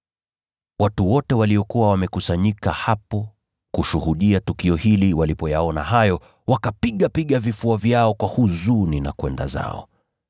Watu wote waliokuwa wamekusanyika hapo kushuhudia tukio hili walipoyaona hayo, wakapigapiga vifua vyao kwa huzuni na kwenda zao.